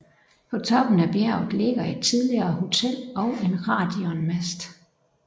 På toppen af bjerget ligger et tidligere hotel og en radionmast